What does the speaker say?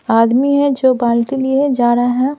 आदमी है जो बाल्टी लिए जा रहा है।